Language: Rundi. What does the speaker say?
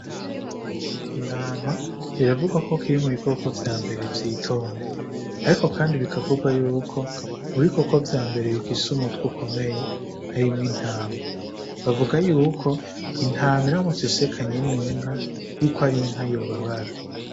Intama biravugwa ko kiri mu bikoko vya mbere vyitonda, ariko, kandi bikavugwa yuko mu bikoko vya mbere bifise umutwa ukomeye arimwo intama bavuga yuko intama iramuta isekanye n'inka yuko ari inka yubabara.